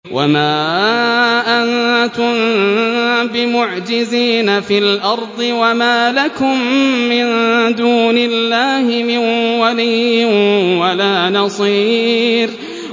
وَمَا أَنتُم بِمُعْجِزِينَ فِي الْأَرْضِ ۖ وَمَا لَكُم مِّن دُونِ اللَّهِ مِن وَلِيٍّ وَلَا نَصِيرٍ